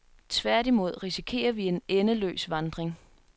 Tværtimod risikerer vi en endeløs vandring.